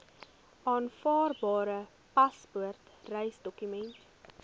aanvaarbare paspoort reisdokument